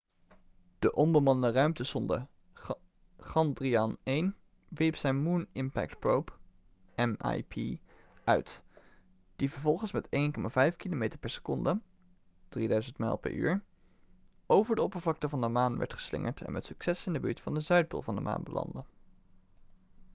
de onbemande ruimtesonde chandrayaan-1 wierp zijn moon impact probe mip uit die vervolgens met 1,5 kilometer per seconde 3000 mijl per uur over de oppervlakte van de maan werd geslingerd en met succes in de buurt van de zuidpool van de maan landde